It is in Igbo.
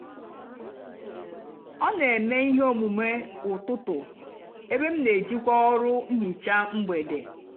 ọ nà-èmè íhè ómumé ụtụtụ ébé m nà-èjìkwá ọrụ nhicha mgbede.